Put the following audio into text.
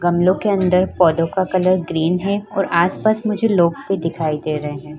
गमलो के अंदर पौधों का कलर ग्रीन है और आसपास मुझे लोग भी दिखाई दे रहे हैं।